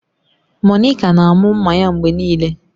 Monica na-amụ mma ya mgbe niile.